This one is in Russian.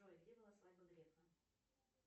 джой где была свадьба грефа